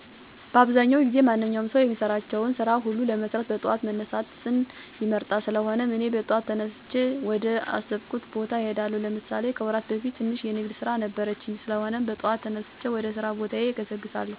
በአብዛዉ ጊዜ ማንኛዉም ሰዉ የሚሰራቸዉን ስራ ሁሉ ለመስራት በጠዋት መነሳትን ይመርጣል: ስለሆነም, እኔ በጠዋት ተነስቼ ወደ አሰብኩት ቦታ እሄዳለሁ። ለምሳሌ፦ ከወራት በፊት ትንሽ የንግድ ስራ ነበረችኝ? ስለሆነም, በጠዋት ተነስቼ ወደ ስራ ቦታዬ እገሰግሳለሁ። ከዚያም, ከስራ ቦታየ ከደረስኩ በኋላ ስራ ለሰዉ ልጅ መሰረታዊ ነገር ነዉ ብየ ስራየን እጀምራለሁ። ስራየንም በአግባቡ ጥራትና ፍጥነት ባለዉ መልኩ ከደንበኞቼ ጋር በመግባባት ስራየን ስሰራ እዉላለሁ።